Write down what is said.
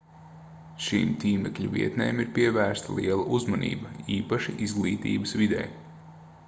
šīm tīmekļa vietnēm ir pievērsta liela uzmanība īpaši izglītības vidē